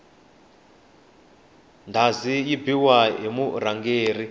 ndhazi yi biwa hi murhangeri